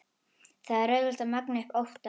Það er auðvelt að magna upp óttann.